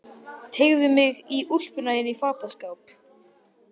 Teygði mig í úlpuna inn í fataskáp.